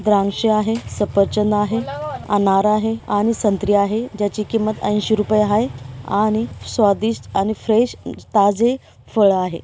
द्राक्षे आहे सफरचंद आहे अनार आहे आणि संत्री आहे ज्याची किंमत अंशी रुपये आहे आणि स्वादिष्ट आणि फ्रेश ताजे फळ आहे.